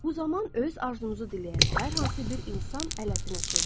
Bu zaman öz arzunuzu diləyən hər hansı bir insan ələddinə çevrilir.